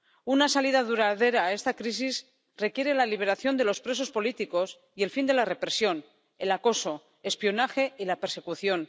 Una salida duradera a esta crisis requiere la liberación de los presos políticos y el fin de la represión, el acoso, el espionaje y la persecución.